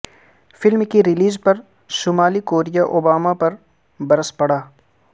film کی release پر شمالی کوریا اوباما پر برس پڑا